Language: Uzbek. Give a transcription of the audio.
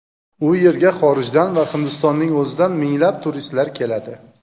U yerga xorijdan va Hindistonning o‘zidan minglab turistlar keladi.